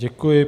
Děkuji.